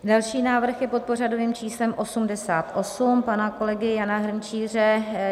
Další návrh je pod pořadovým číslem 88 pana kolegy Jana Hrnčíře.